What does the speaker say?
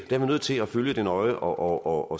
er nødt til at følge det nøje og